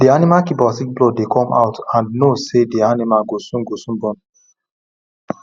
the animal keeper see blood dey come out and know say the animal go soon go soon born